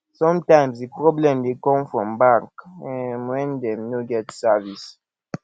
sometimes di problem dey come from bank um when dem no get service